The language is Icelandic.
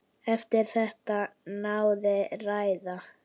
Eftir þetta náði ræða